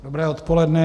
Dobré odpoledne.